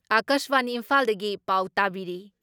ꯑꯀꯥꯁꯕꯥꯅꯤ ꯏꯝꯐꯥꯜꯗꯒꯤ ꯄꯥꯎ ꯇꯥꯕꯤꯔꯤ ꯫